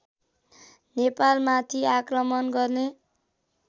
नेपालमाथि आक्रमण गर्ने